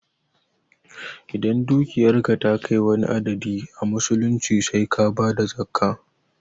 Idan dukiyarka ta kai wani adadi a musulunci sai ka bada zakkah